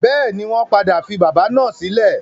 Bẹ́ẹ̀ni, wọ́n padà fi bábà náà sílẹ̀.